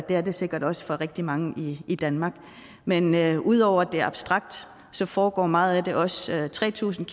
er det sikkert også for rigtig mange i i danmark men men ud over at det er abstrakt foregår meget af det også tre tusind